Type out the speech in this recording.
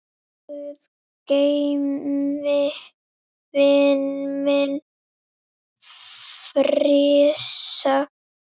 Guð geymi vininn minn Frissa.